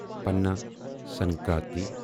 Pana Sankranti